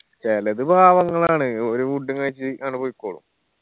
ചെലത് പാവങ്ങളാണ് ഓര് food ഉം കഴിച്ച് അങ്ങട് പൊയ്‌ക്കോളും